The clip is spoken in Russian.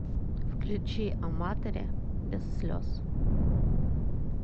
включи аматори без слез